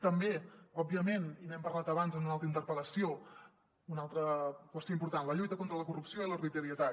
també òbviament i n’hem parlat abans en una altra interpel·lació una altra qüestió important la lluita contra la corrupció i l’arbitrarietat